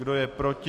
Kdo je proti?